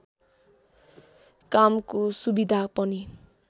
कामको सुविधा पनि